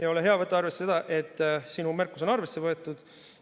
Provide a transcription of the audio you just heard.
Ja ole hea, võta arvesse seda, et sinu märkus on arvesse võetud.